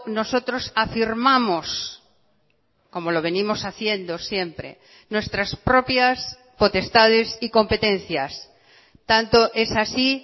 nosotros afirmamos como lo venimos haciendo siempre nuestras propias potestades y competencias tanto es así